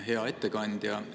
Hea ettekandja!